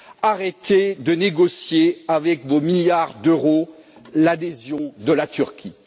Arrêtez de négocier, avec vos milliards d'euros, l'adhésion de la Turquie.